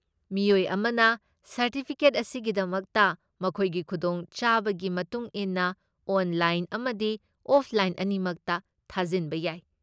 ꯃꯤꯑꯣꯏ ꯑꯃꯅ ꯁꯔꯇꯤꯐꯤꯀꯦꯠ ꯑꯁꯤꯒꯤꯗꯃꯛꯇ ꯃꯈꯣꯏꯒꯤ ꯈꯨꯗꯣꯡ ꯆꯥꯕꯒꯤ ꯃꯇꯨꯡ ꯏꯟꯅ ꯑꯣꯟꯂꯥꯏꯟ ꯑꯃꯗꯤ ꯑꯣꯐꯂꯥꯏꯟ ꯑꯅꯤꯃꯛꯇ ꯊꯥꯖꯤꯟꯕ ꯌꯥꯏ꯫